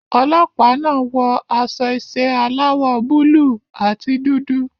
Ọlọ́pàá náà wọ aṣọ iṣẹ́ aláwọ̀ búlùù àti dúdú.